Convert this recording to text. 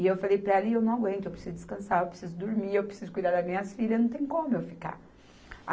E eu falei para ela, e eu não aguento, eu preciso descansar, eu preciso dormir, eu preciso de cuidar das minhas filhas, não tem como eu ficar.